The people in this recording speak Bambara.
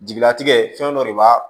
Jigilatigɛ fɛn dɔ de b'a